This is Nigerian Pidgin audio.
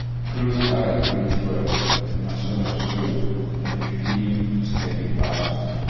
close eye breathe well — na so — na so i dey feel steady fast.